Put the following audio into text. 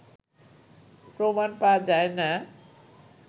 প্রমাণ পাওয়া যায় না